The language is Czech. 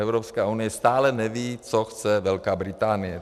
Evropská unie stále neví, co chce Velká Británie.